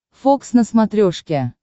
фокс на смотрешке